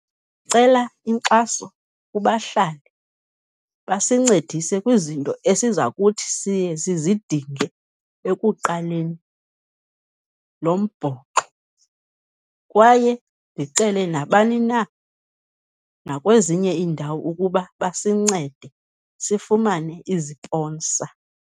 Cela inkxaso kubahlali basincedise kwizinto esiza kuthi siye sizidinge ekuqaleni lombhoxo, kwaye ndicele nabani na nakwezinye iindawo ukuba basincede sifumane iziponsa.